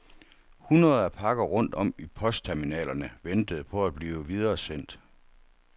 Hundreder af pakker rundt om i postterminalerne ventede på at blive videresendt.